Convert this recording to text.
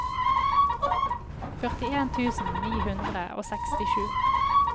førtien tusen ni hundre og sekstisju